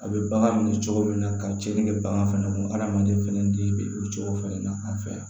A bɛ bagan minɛ cogo min na ka cɛnni kɛ bagan fɛnɛ ko hadamaden fɛnɛ den bɛ o cogo fɛnɛ na an fɛ yan